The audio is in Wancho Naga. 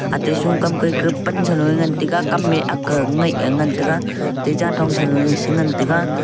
ate shoukam ke pan saloe ngan taiga kamme akke ngaih e ngan taiga te janthong saloe sengan taiga.